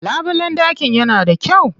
Labulen ɗakin yana da kyau.